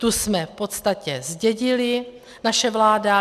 Tu jsme v podstatě zdědili - naše vláda.